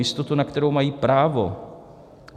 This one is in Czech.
Jistotu, na kterou mají právo.